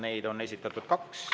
Neid on esitatud kaks.